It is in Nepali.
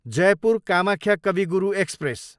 जयपुर, कामख्या कवि गुरु एक्सप्रेस